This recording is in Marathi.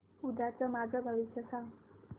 उद्याचं माझं भविष्य सांग